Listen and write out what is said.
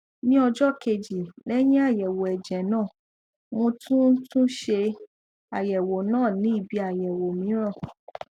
ní ọjọ kejì lẹyìn àyẹwò ẹjẹ náà mo tún tún ṣe àyẹwò náà ní ibi àyẹwò mìíràn